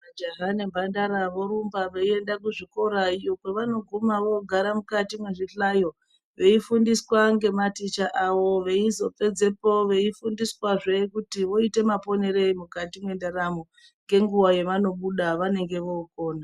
Majaha nembandara vorumba veienda kuzvikora iyo kwavanoguma vogara mukati mezvihlayo veifundiswa ngematicha awo veizopedzepo veifundiswazve kuti voite maponere eyi mukati mendaramo. Ngenguwa yevanomuda vanenge vokona.